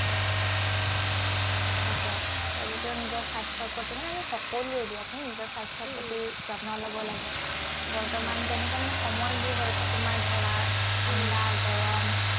তাকে, তেওঁলোকেও নিজৰ স্বাস্থ্যৰ প্ৰতি, মানে আমি সকলোৱেই দিয়াচোন, নিজৰ স্বাস্থ্যৰ প্ৰতি যত্ন লব লাগে। বৰ্তমান যেনেকুৱা মানে সময়বোৰ হৈ আছে, তোমাৰ ধৰা ঠাণ্ডা, গৰম